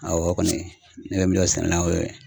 Awɔ o kɔni, ne bɛ min bɛ min dɔn sɛnɛna la y'o ye.